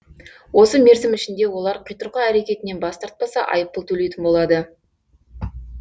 осы мерзім ішінде олар қитұрқы әрекетінен бас тартпаса айыппұл төлейтін болады